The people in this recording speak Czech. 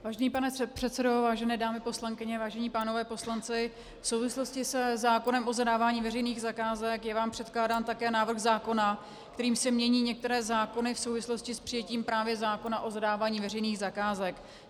Vážený pane předsedo, vážené dámy poslankyně, vážení pánové poslanci, v souvislosti se zákonem o zadávání veřejných zakázek je vám předkládán také návrh zákona, kterým se mění některé zákony v souvislosti s přijetím právě zákona o zadávání veřejných zakázek.